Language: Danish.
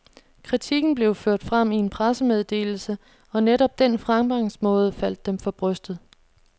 Kritikken blev ført frem i en pressemeddelse, og netop den fremgangsmåde faldt dem for brystet.